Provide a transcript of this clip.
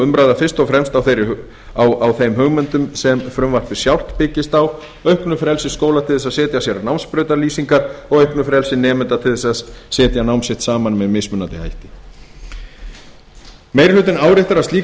umræða fyrst og fremst á þeim hugmyndum sem frumvarpið sjálft byggist á auknu frelsi skóla til að setja sér námsbrautalýsingar og auknu frelsi nemenda til að setja nám sitt saman með mismunandi hætti meiri hlutinn áréttar að slík